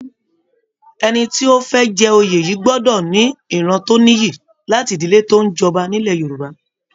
Ẹni tí ó fẹ́ jẹ oyè yìí gbọ́dọ̀ ní ìran tó nìyí, láti ìdílé tó ń jọba nílẹ̀ Yorùbá